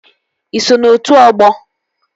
Ị so na otu ọgbọ?